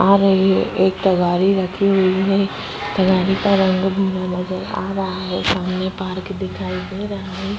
आ रही है एक तगारी रखी हुई है। तगारी का रंग नजर आ रहा है सामने पार्क दिखाई दे रहा है।